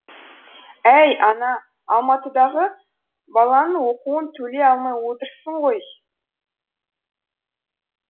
әй ана алматыдағы баланың оқуын төлей алмай отырсың ғой